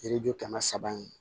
Yiriju kɛmɛ saba in